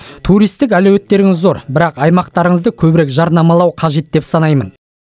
туристік әлеуеттеріңіз зор бірақ аймақтарыңызды көбірек жарнамалау қажет деп санаймын